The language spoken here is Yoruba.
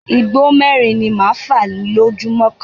Igbó mẹ́rin ni máa fa lójúmọ́ kan.